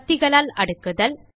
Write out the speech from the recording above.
பத்திகளால் அடுக்குதல்